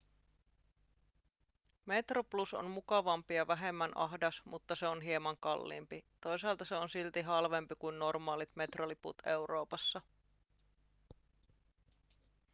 metroplus on mukavampi ja vähemmän ahdas mutta se on hieman kalliimpi toisaalta se on silti halvempi kuin normaalit metroliput euroopassa